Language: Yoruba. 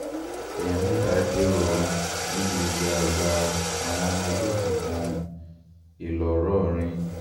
èèyàn mẹ́ta dèrò ọ̀run níbi ìjà àgbà àwọn ọmọ ẹgbẹ́ òkùnkùn ńlọrọrìn